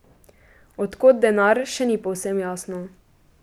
Od kod denar, še ni povsem jasno.